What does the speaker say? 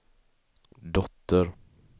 dotter